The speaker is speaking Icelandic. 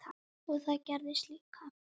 Og það gerðist líka.